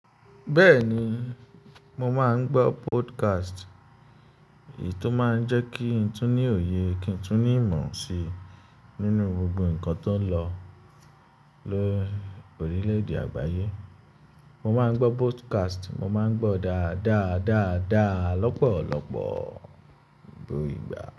Bẹ́ẹ̀ni, mo máa ń gbọ́ podcast. Èyí tó máa ń jẹ́ kí n tún ní òye, kí n tún ní ìmọ̀ si nínú gbogbo nǹkan tó ń lọ lórílẹ̀ èdè àgbáyé. Mo máa ń gbọ́ podcast, mo máa ń gbọ́ dáadáa, dáadáa, lọ́pọ̀lọpọ̀ gbó igba.